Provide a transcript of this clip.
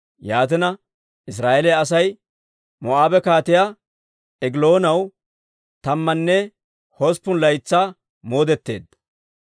Yaatina, Israa'eeliyaa Asay Moo'aabe Kaatiyaa Egiloonaw tammanne hosppun laytsaa moodetteedda.